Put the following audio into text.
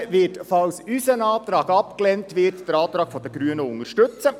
Die SP wird, falls ihr Antrag abgelehnt wird, den Antrag der Grünen unterstützen.